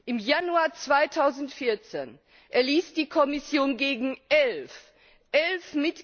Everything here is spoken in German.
Im Januar 2014 erließ die Kommission gegen elf elf!